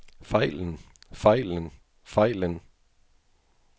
fejlen fejlen fejlen